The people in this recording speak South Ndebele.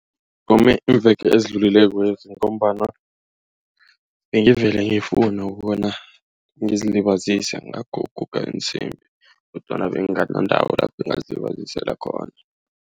iimveke ezidlulileko lezi ngombana bengivele ngifuna ukobana ngizilibazise ngakho ukuguga iinsimbi kodwana bengingana ndawo lapho engingazilibazisela khona.